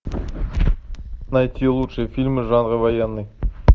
найти лучшие фильмы жанра военный